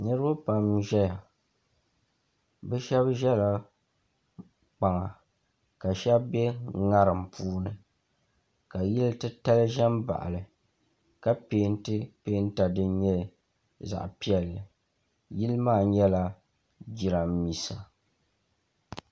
Niriba pam n-ʒeya bɛ shɛba ʒela kpaŋa ka shɛba be ŋariŋ puuni ka yili titali ʒe m-baɣi li ka peenti peenta din nyɛ zaɣ'piɛlli yili maa nyɛla jirambiisa.